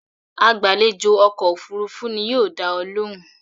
It is the flight attendant that will attend to you.